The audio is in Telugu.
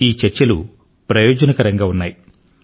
ఈ చర్చలు ప్రయోజనకరంగా ఉన్నాయి